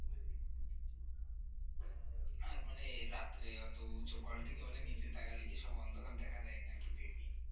মানে রাত্রে অত উচু পয়েন্ট থেকে নিচু তাকালে কি সব অন্ধকার দেখা যায় নাকি দেখি